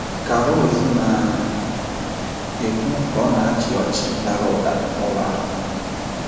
Ka Rose na - ekwu ka ọ na - achị ọchị dara ụda n’ụlọ ahụ.